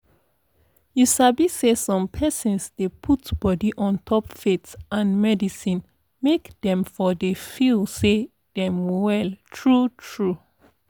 you sabi say som persons dey put body untop faith and medicine make dem for dey feel say dem well true true